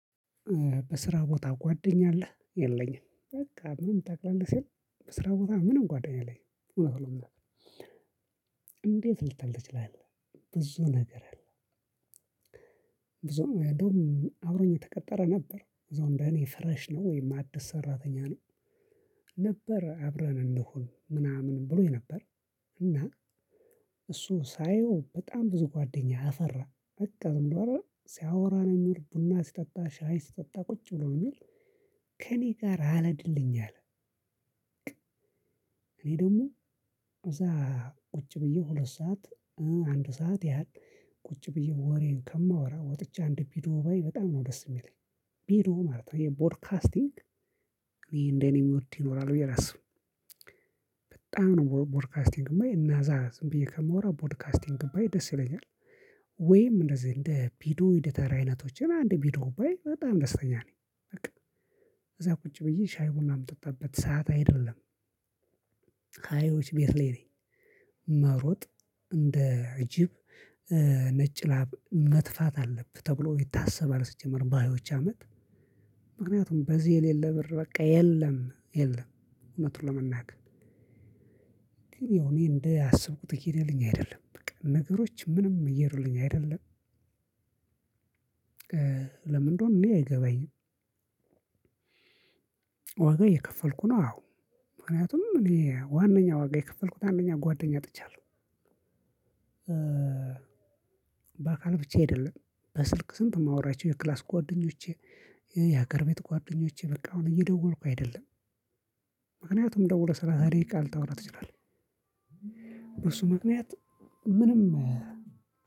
በስራ ቦታ ጓደኛ አለህ? የለኝም። በቃ ምንም ታቅላለህ ሲል በስራ ቦታ ምንም ጓደኛ የለኝም። እውነት ለመናገር፣ እንዴት ልትፈልግ ትችላለህ? ብዙ ነገር አለ፤ እዛው እንዲሁም አብሮኝ የተቀጠረ ነበር፣ እዛው እንደ እኔ ፍረሽ ነው፣ ወይም አዲስ ሰራተኛ ነው። ነበር አብረን እንሁን ምናምን ብሎኝ ነበር። እና እሱ ሳየው በጣም ብዙ ጓደኛ ያፈራ በቃ ዝም ብሎ አለ አይደል? ሲያወራ ነው የሚውል፣ ቡና ሲጠጣ፣ ሻይ ሲጠጣ ቁጭ ብሎ ነው የሚውል። ከእኔ ጋር አለድልኝ አለ። እኔ ደግሞ እዛ ቁጭ ብዬ ሁለት ሰዓት፣ አንድ ሰዓት ያህል ቁጭ ብዬ ወሬን ከማወራ ወጥቼ አንድ ቪዲዮ ባይ በጣም ነው ደስ የሚለኝ፣ ቪዲዮ ማለት ነው፣ ይሄ ቦድካስቲንግ ይሄ እኔ እንደኔ ምወድ ይኖራል ብዬ አላስብም። በጣም ነው ቦድካስቲንግማ እነዛ ዝም ብዬ ከማወራ ቦድካስቲንግ ብዬ ደስ ይለኛል። ወይም እንደዚህ እንደ ቪዲዮ ኤዲተር አይነቶችን አንድ ቪዲዮ ባይ በጣም ደስተኛ ነኝ በቃ። እዛ ቁጭ ብዬ ሻይ ቡና የምጠጣበት ሰዓት አይደለም። ሃያዎች ቤት ላይ ነኝ፣ መውረጥ እንደ እጅብ ነጭ ላብ መትፋት አለብህ ተብሎ ይታሰባል ስትጀምር በሃያዎች አመት ምክንያቱም በዚህ የሌለ ብር በቃ የለም፣ የለም። እውነቱን ለመናገር ግን ያው እኔ እንደ አስብኩት ይሄደልኝ አይደለም። በቃ ነገሮች ምንም እየሄዱልኝ አይደለም። ለምንድን እንደሆነ እኔ አይገበኝም። ዋጋ እየከፈልኩ ነው፣ አዎ። ምክንያቱም እኔ ዋነኛ ዋጋ የከፈልኩት አንደኛ ጓደኛ አጥቻለሁ። በአካል ብቻ አይደለም፣ በስልክ ስንት የማወራቸው የክላስ ጓደኞቼ፣ የሀገር ቤት ጓደኞቼ በቃ አሁን እየደወልኩ አይደለም። ምክንያቱም ደውለህ ሰላሳ ደቂቃ ልታወራ ትችላለህ። በሱ ምክንያት ምንም